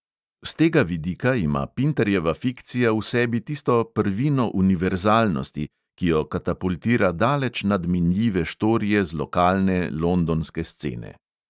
S tega vidika ima pintarjeva fikcija v sebi tisto prvino univerzalnosti, ki jo katapultira daleč nad minljive štorije z lokalne londonske scene.